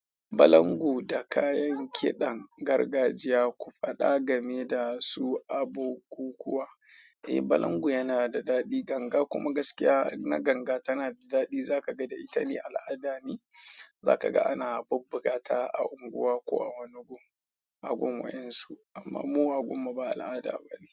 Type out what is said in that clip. Balango da kayan kidan gargajiya ku fada game dasu a bukukuwa. Eh. Balangu yana da daɗi, ganga kuma gaskiya na ganga tana da daɗi. Zaka ga da ita ne al'ada ne. Zaka ga ana bubbugata a unguwa ko a wani gun a gun wayan su, amma mu a gummu ba al'ada bane.